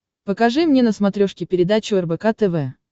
покажи мне на смотрешке передачу рбк тв